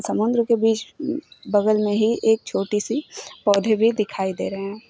समुंद्र के बीच बगल में ही एक छोटी सी पौधे भी दिखाई दे रहे हैं।